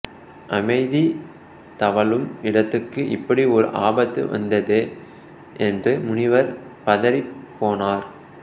அமைதி தவழும் இடத்துக்கு இப்படி ஓர் ஆபத்து வந்ததே என்று முனிவர் பதறிப் போனார்